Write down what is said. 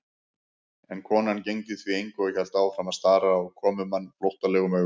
En konan gegndi því engu og hélt áfram að stara á komumann flóttalegum augum.